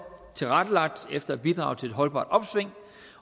tilrettelagt efter at bidrage til et holdbart opsving